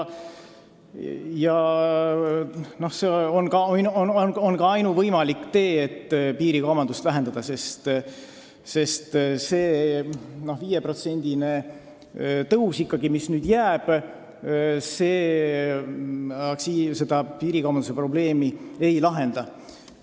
See on ainuvõimalik tee, kui tahame piirikaubandust vähendada, sest kui see 5%-line tõus nüüd ikkagi jääb, siis piirikaubanduse probleem ei lahene.